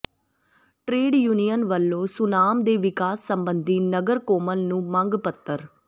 trade union ਵੱਲੋਂ ਸੁਨਾਮ ਦੇ ਵਿਕਾਸ ਸਬੰਧੀ ਨਗਰ ਕੌਂਸਲ ਨੂੰ ਮੰਗ ਪੱਤਰ